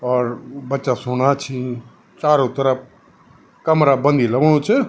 और बच्चा सूणा छिं चारो तरफ कमरा बंद ही लगणु च।